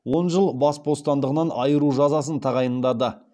он жыл бас бостандығынан айыру жазасын тағайындады